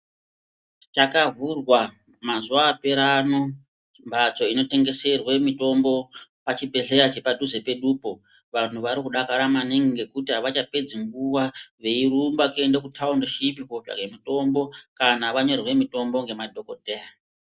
Chakavhurwa mazuwa apera ano mhatso inotengeserwe mutombo pachibhedhleya chepadhuze pedupo vanhu vari kudakara maningi ngekuti avachapedzi ngewa veirumbe kuende kutaunishipi kotsvage mutombo kana vanyorerwe mutombo ngemadhokodheya.